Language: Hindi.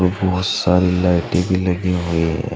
बहुत सारी लाइटें भी लगी हुई हैं।